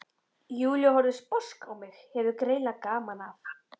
Júlía horfir sposk á mig, hefur greinilega gaman af.